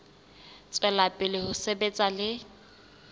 tswela pele ho sebetsa le